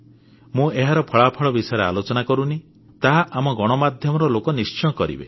ମୁଁ ଏହାର ଫଳାଫଳ ବିଷୟରେ ଆଲୋଚନା କରୁନାହିଁ ତାହା ଆମ ଗଣମାଧ୍ୟମର ଲୋକ ନିଶ୍ଚୟ କରିବେ